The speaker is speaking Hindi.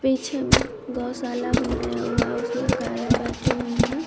पीछे में गौशाला बनाया हुआ है उसमें गाय बैठी हुई हैं।